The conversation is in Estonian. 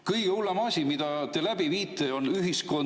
Kõige hullem asi, mida te läbi viite, on ühiskondlik …